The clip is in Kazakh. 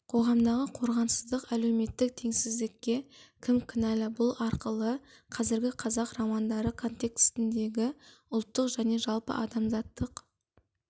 қоғамдағы қорғансыздық әлеуметтік теңсіздікке кім кінәлі бұл арқылы қазіргі қазақ романдары контексіндегі ұлттық және жалпы адамзаттық